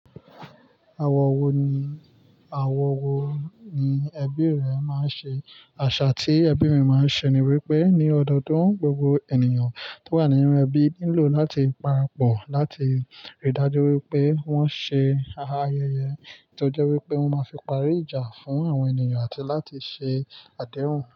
Àwọ̀ wo ni, àwọ̀ wo àṣà wo ni ẹbí re máa ń ṣe? Àṣà ti ẹbí mi máa ń ṣe ni wípé ni ọdọọdún gbogbo ènìyàn to wa nínú ẹbí nílò láti parapọ̀ láti rí dájú wípé won ṣe ayẹyẹ to je wípé won ma fi parí ìjà fún àwọn ènìyàn àti láti ṣe àdéhùn.